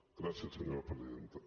gràcies senyora presidenta